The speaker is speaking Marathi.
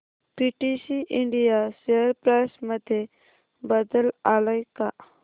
पीटीसी इंडिया शेअर प्राइस मध्ये बदल आलाय का